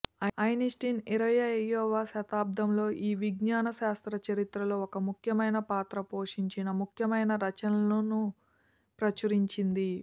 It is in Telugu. ఐన్స్టీన్ ఇరవయ్యవ శతాబ్దంలో ఈ విజ్ఞాన శాస్త్ర చరిత్రలో ఒక ముఖ్యమైన పాత్ర పోషించిన ముఖ్యమైన రచనలను ప్రచురించింది